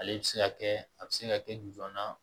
Ale bɛ se ka kɛ a bɛ se ka kɛ joona